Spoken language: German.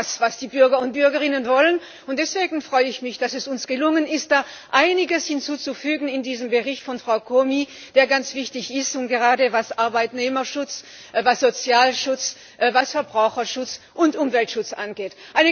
Das ist das, was die Bürger und Bürgerinnen wollen! Deswegen freue ich mich, dass es uns gelungen ist, da einiges hinzuzufügen in diesem Bericht von Frau Comi, der ganz wichtig ist gerade was Arbeitnehmerschutz, was Sozialschutz, was Verbraucherschutz und Umweltschutz angeht.